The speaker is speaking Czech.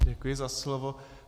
Děkuji za slovo.